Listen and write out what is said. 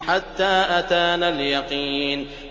حَتَّىٰ أَتَانَا الْيَقِينُ